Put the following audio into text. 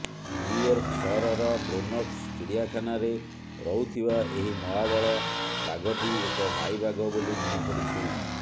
New York ସହରର Bronx ଚିଡ଼ିଆଖାନାରେ ରହୁଥିବା ଏହି ମହାବଳ ବାଘଟି ଏକ ମାଇ ବାଘ ବୋଲି ଜଣାପଡ଼ିଛି